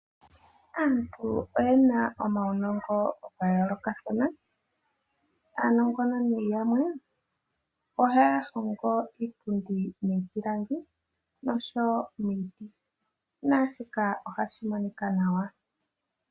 Aantu oye na omaunongo ga yoolokathana mono yamwe haya hongo iipundi miipilangi nosho wo miiti naashika ohashi monika nawa.